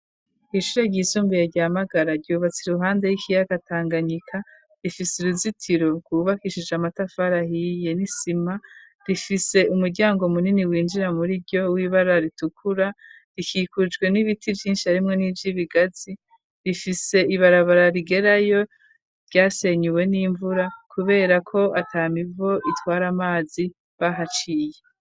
Ishure ry'isumbuye rya Magara, ryubatse iruhande y'ikiyaga Tanganyika, rifise uruzitiro rwubakishije amatafari ahiye, n'isima, rifise umuryango munini winjira muri ryo, w'ibara ritukura, rikikujwe n'ibiti vyinshi arimwo nivy'ibigazi, rifise ibarabara rigerayo ryasenyuwe n'imvura, kubera ko ata mivo itwara amazi bahaciye.